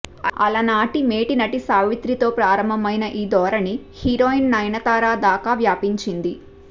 అలనాటి మేటి నటి సావిత్రితో ప్రారంభమైన ఈ ధోరణి హీరోయిన్ నయనతార దాకా వ్యాపించింది